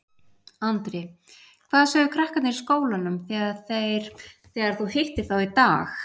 Andri: Hvað sögðu krakkarnir í skólanum þegar þeir, þegar þú hittir þá í dag?